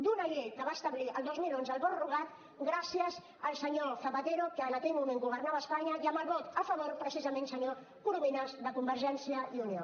d’una llei que va establir el dos mil onze el vot rogat gràcies al senyor zapatero que en aquell moment governava a espanya i amb el vot a favor precisament senyor corominas de convergència i unió